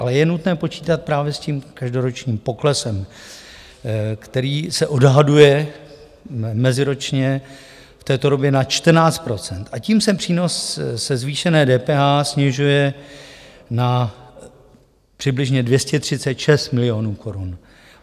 Ale je nutné počítat právě s tím každoročním poklesem, který se odhaduje meziročně v této době na 14 %, a tím se přínos ze zvýšené DPH snižuje na přibližně 236 milionů korun.